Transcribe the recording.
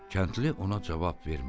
Kəndli ona cavab vermirdi.